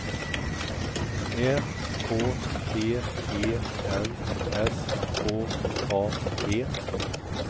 Ä K T E N S K A P